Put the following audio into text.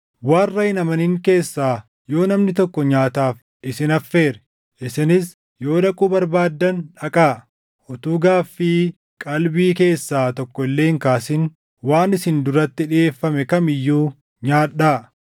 Warra hin amanin keessaa yoo namni tokko nyaataaf isin affeere, isinis yoo dhaquu barbaaddan dhaqaa; utuu gaaffii qalbii keessaa tokko illee hin kaasin waan isin duratti dhiʼeeffame kam iyyuu nyaadhaa.